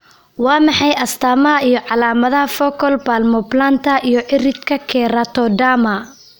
Waa maxay astamaha iyo calaamadaha Focal palmoplantar iyo ciridka keratoderma?